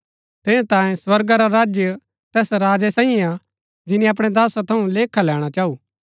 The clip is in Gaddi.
ठेरैतांये स्वर्गा रा राज्य तैस राजै साईये हा जिनी अपणै दासा थऊँ लेखा लैणा चाऊ